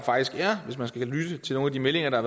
hvis man skal lytte til nogle af de meldinger der